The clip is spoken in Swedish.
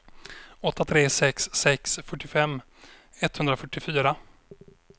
åtta tre sex sex fyrtiofem etthundrafyrtiofyra